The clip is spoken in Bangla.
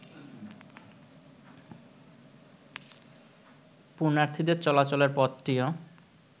পূণ্যার্থীদের চলাচলের পথটিও